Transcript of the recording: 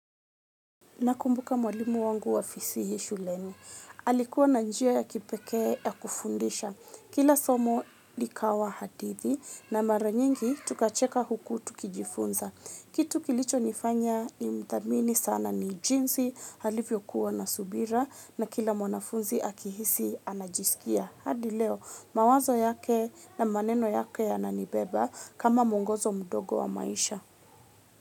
Nakumbuka mwalimu wangu wa fasihi shuleni. Alikuwa na njia ya kipekee ya kufundisha. Kila somo likawa hadithi na mara nyingi tukacheka huku tukijifunza. Kitu kilichonifanya nimthamini sana ni jinsi alivyokuwa na subira na kila mwanafunzi akihisi anajisikia. Hadi leo mawazo yake na maneno yake yananibeba kama muongozo mdogo wa maisha.